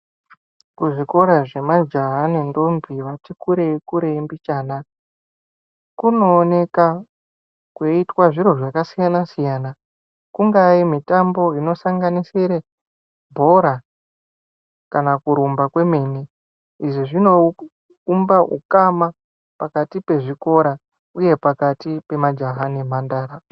Kuzvikora zvemajaha nendombi vati kurei kurei mbichana kunooneka kweiitwe zviro zvakasiyana siyana kungaa mitambo inosanganisire bhora kana kurumba kwemene izvi zvinoumba ukama pakati pezvikora uye pakati pemajaha nemhandara.